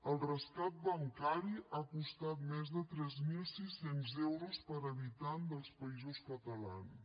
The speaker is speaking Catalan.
el rescat bancari ha costat més de tres mil sis cents euros per habitant dels països catalans